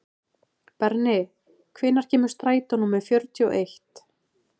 Berni, hvenær kemur strætó númer fjörutíu og eitt?